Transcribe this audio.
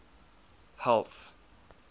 health